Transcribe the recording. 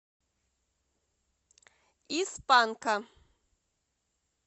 из панка